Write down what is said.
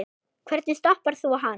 Hvernig stoppar þú hann?